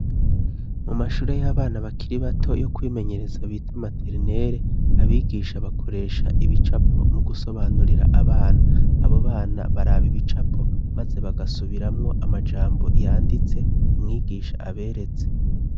Mu mashure y'abana bakiri bato yo kwimenyereza bita materinere abigisha bakoresha ibicapo mu gusobanurira abana abo bana baraba ibicapo maze bagasubiramwo amajambo yanditse umwigisha aberetse.